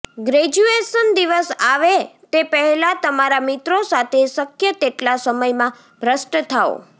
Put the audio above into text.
graduation દિવસ આવે તે પહેલાં તમારા મિત્રો સાથે શક્ય તેટલા સમયમાં ભ્રષ્ટ થાઓ